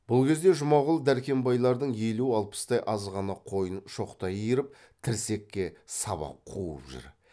бұл кезде жұмағұл дәркембайлардың елу алпыстай азғана қойын шоқтай иіріп тірсекке сабап қуып жүр